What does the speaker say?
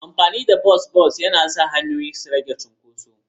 Amfani da bas-bas yana sa hanyoyin su rage cunkoso.